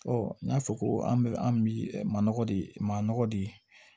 n y'a fɔ ko an bɛ an bi maɔgɔ de ma nɔgɔ de